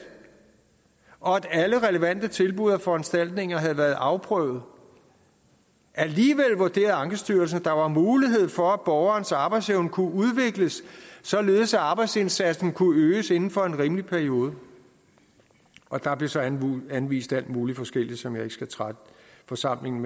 og at alle relevante tilbud og foranstaltninger havde været afprøvet alligevel vurderede ankestyrelsen at der var mulighed for at borgerens arbejdsevne kunne udvikles således at arbejdsindsatsen kunne øges inden for en rimelig periode og der blev så anvist alt muligt forskelligt som jeg ikke skal trætte forsamlingen